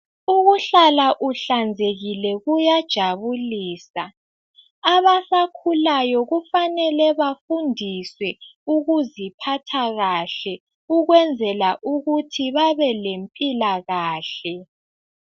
Ukuhlala uhlanzekile kuyajabulisa abasakhulayo kufanele bafundiswe ukuziphatha kahle ukwenzela ukuthi babe lempilakahle.